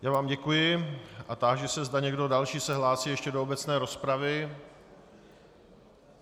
Já vám děkuji a táži se, zda někdo další se hlásí ještě do obecné rozpravy.